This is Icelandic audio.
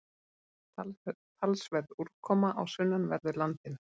Talsverð úrkoma á sunnanverðu landinu